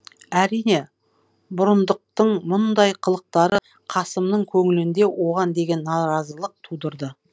әрине бұрындықтың мұндай қылықтары қасымның көңілінде оған деген наразылық тудырды